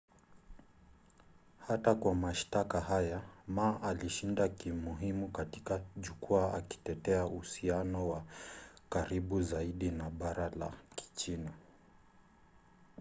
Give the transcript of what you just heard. hata kwa mashtaka haya ma alishinda kimuhimu katika jukwaa akitetea uhusiano wa karibu zaidi na bara la kichina